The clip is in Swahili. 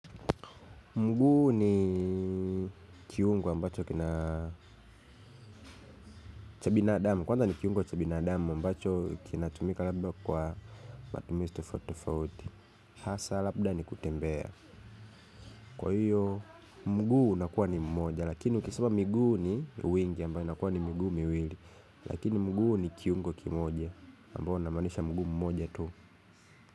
Mguu ni kiungu ambacho kina cha binadamu. Kwanza ni kiungo cha binadamu ambacho kinatumika labda kwa matumizi tofautitofauti. Hasa labda ni kutembea. Kwa hiyo, mguu unakuwa ni mmoja. Lakini ukisema miguu ni wingi ambayo inakuwa ni miguu miwili. Lakini mguu ni kiungo kimoja ambayo unamanisha mguu mmoja tu.